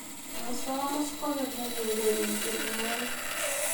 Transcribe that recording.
musamus kogeny' ak eureren tienwogik